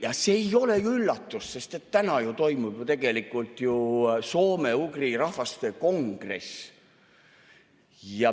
Ja see ei ole üllatus, sest täna toimub ju soome-ugri rahvaste kongress.